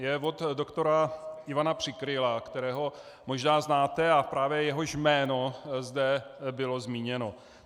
Je od doktora Ivana Přikryla, kterého možná znáte a právě jehož jméno zde bylo zmíněno.